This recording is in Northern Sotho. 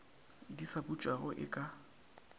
di sa butšwago e ka